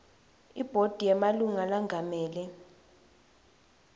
ibhodi yemalunga lengamele